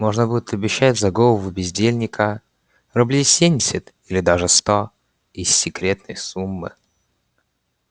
можно будет обещать за голову бездельника рублей семьдесят или даже сто из секретной суммы